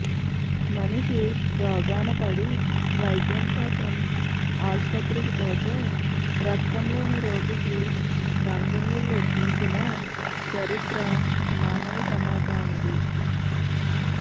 మనిషి రోగాన పడి వైద్యంకోసం ఆసుపత్రికి పోతే రక్తంలేని రోగికి రంగు నీళ్లు ఎక్కించిన చరిత్ర మానవ సమాజానిది